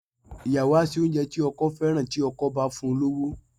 Ìyàwó á ṣe oúnjẹ tí ọkọ ẹ̀ fẹ́ràn tí ọkọ ẹ̀ bá fún un lówó.